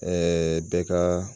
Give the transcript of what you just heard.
Ɛɛ bɛɛ ka